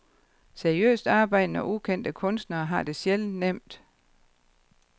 Seriøst arbejdende og ukendte kunstnere har det sjældent nemt.